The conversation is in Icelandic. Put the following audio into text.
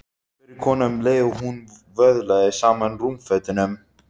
spurði konan um leið og hún vöðlaði saman rúmfötunum.